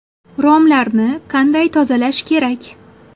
Romlarni qanday tozalash kerak?